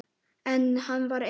En hann var einn.